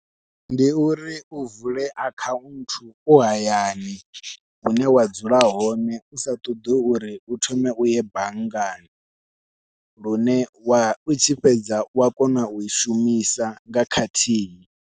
Ndi uri u vule akhaunthu u hayani hune wa dzula hone usa ṱoḓi uri u thome uye banngani, lune wa u tshi fhedza wa kona u i shumisa nga khathihi.